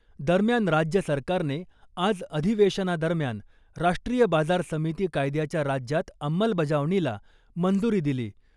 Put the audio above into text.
दरम्यान राज्य सरकारने आज अधिवेशनादरम्यान राष्ट्रीय बाजार समिती कायद्याच्या राज्यात अंमलबजावणीला मंजुरी दिली .